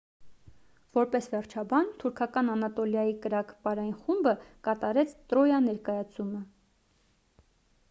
որպես վերջաբան թուրքական անատոլիայի կրակ պարային խումբը կատարեց տրոյա ներկայացումը